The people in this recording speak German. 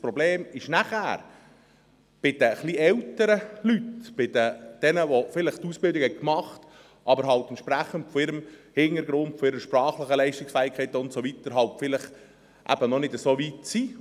Das Problem stellt sich danach, bei den etwas älteren Leuten, bei jenen, die eine Ausbildung gemacht haben, die aber von ihrem Hintergrund, von ihrer sprachlichen Leistungsfähigkeit her halt vielleicht noch nicht so weit sind.